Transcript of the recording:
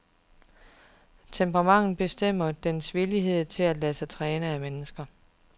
Temperamentet bestemmer dens villighed til at lade sig træne af mennesker.